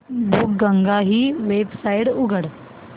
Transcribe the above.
बुकगंगा ही वेबसाइट उघड